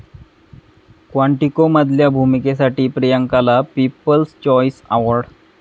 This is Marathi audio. क्वांटिको'मधल्या भूमिकेसाठी प्रियांकाला 'पीपल्स चॉईस अॅवॉर्ड'